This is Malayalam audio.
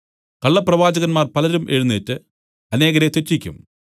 കള്ളപ്രവാചകന്മാർ പലരും എഴുന്നേറ്റ് അനേകരെ തെറ്റിക്കും